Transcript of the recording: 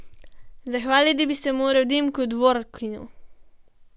Zahvaliti bi se moral Dimku Dvorkinu.